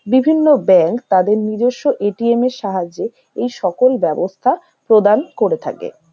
বিভিন্ন ব্যাংক তাদের নিজস্ব এ. টি. এম. - এর সাহায্যে এই সকল বাবস্থা প্রদান করে থাকে।